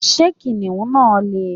Did lion chase her?